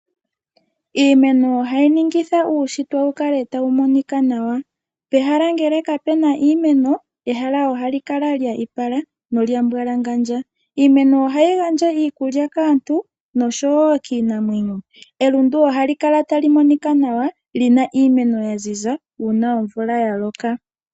Iimeno ohayi ningitha uushitwe wu kale tawu monika nawa. Pehala ngele kapu na iimeno ehala ohali kala lya ipala nolya mbwalangandja. Iimeno ohayi gandji iikulya kaantu nosho wo kiinamwenyo. Elundu ohali kala tali monika nawa li na iimeno ya ziza uuna omvula ya loka.